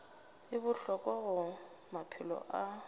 e bohlokwa go maphelo a